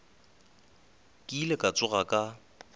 ke ile ka tsoga ka